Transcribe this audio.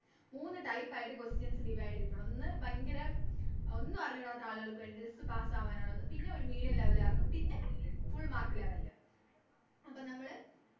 മൂന്ന് Type ആയിട്ട് Questions divide ചെയ്തിട്ടുള്ളത് ഒന്ന് ഭയങ്കര ഒന്നും അറിഞ്ഞൂടാത്ത ആള്കൾക്ക് വേണ്ടിട്ട് Just pass അവനുള്ളത്‌ പിന്നെ ഒര് Medium level കാർക്കും പിന്നെ Full mark അപ്പം നമ്മള്